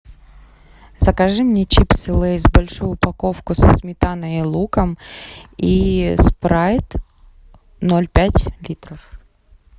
закажи мне чипсы лейс большую упаковку со сметаной и луком и спрайт ноль пять литров